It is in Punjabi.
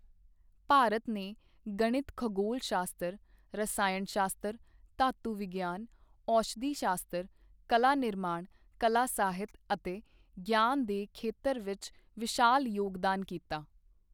ਭਾਰਤ ਨੇ ਗਣਿਤ ਖਗੋਲ ਸ਼ਾਸਤਰ ਰਸਾਇਣ ਸ਼ਾਸਤਰ ਧਾਤੂ ਵਿਗਿਆਨ ਔਸ਼ਧੀ ਸ਼ਾਸਤਰ ਕਲਾ ਨਿਰਮਾਣ ਕਲਾ ਸਾਹਿਤ ਅਤੇ ਗਿਆਨ ਦੇ ਖੇਤਰ ਵਿਚ ਵਿਸ਼ਾਲ ਯੋਗਦਾਨ ਕੀਤਾ।